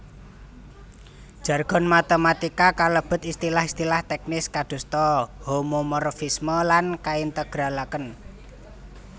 Jargon matématika kalebet istilah istilah tèknis kadosta homomorfisme lan kaintegralaken